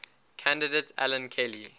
candidate alan kelly